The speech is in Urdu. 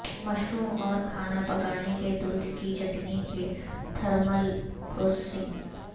مشروم اور کھانا پکانے کے دودھ کی چٹنی کے تھرمل پروسیسنگ